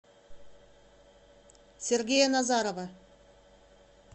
сергея назарова